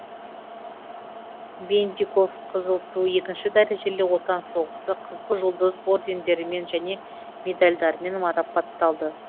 бендиков қызыл ту екінші дәрежелі отан соғысы қызыл жұлдыз ордендерімен және медальдармен марапатталды